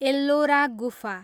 एल्लोरा गुफा